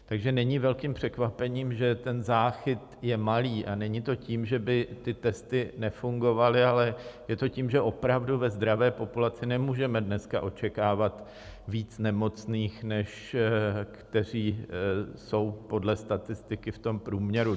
Takže není velkým překvapením, že ten záchyt je malý, a není to tím, že by ty testy nefungovaly, ale je to tím, že opravdu ve zdravé populaci nemůžeme dneska očekávat víc nemocných, než kteří jsou podle statistiky v tom průměru.